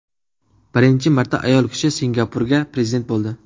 Birinchi marta ayol kishi Singapurga prezident bo‘ldi.